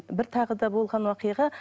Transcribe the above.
бір тағы да болған оқиға